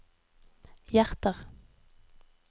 hjerter